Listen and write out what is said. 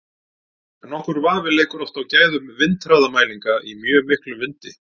Nokkur vafi leikur oft á gæðum vindhraðamælinga í mjög miklum vindi.